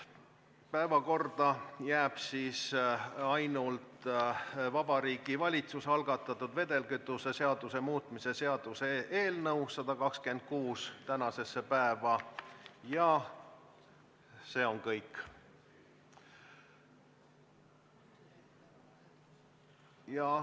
Päevakorda jääb siis ainult Vabariigi Valitsuse algatatud vedelkütuse seaduse muutmise seaduse eelnõu 126 ja see on kõik.